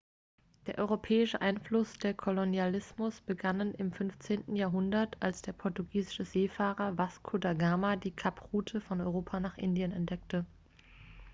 der europäische einfluss und der kolonialismus begannen im 15. jahrhundert als der portugiesische seefahrer vasco da gama die kaproute von europa nach indien entdeckte